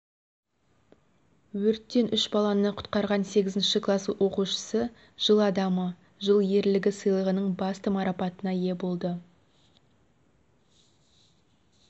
өрттен үш баланы құтқарған сегізінші класс оқушысы жыл адамы жыл ерлігі сыйлығының басты марапатына ие болды